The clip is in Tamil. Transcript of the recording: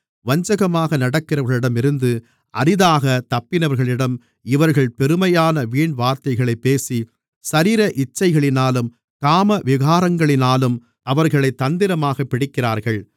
வஞ்சகமாக நடக்கிறவர்களிடம் இருந்து அரிதாகத் தப்பினவர்களிடம் இவர்கள் பெருமையான வீண்வார்த்தைகளைப் பேசி சரீர இச்சைகளினாலும் காமவிகாரங்களினாலும் அவர்களைத் தந்திரமாகப் பிடிக்கிறார்கள்